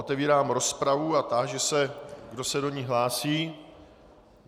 Otevírám rozpravu a táži se, kdo se do ní hlásí.